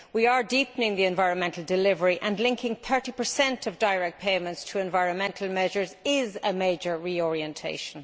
We are deepening the environmental delivery and linking 30 of direct payments to environmental measures, which is a major reorientation.